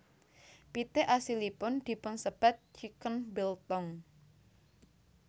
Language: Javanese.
Pitik asilipun dipunsebat chicken biltong